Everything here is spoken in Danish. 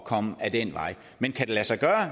komme ad den vej men kan det lade sig gøre